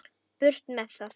Burt með það.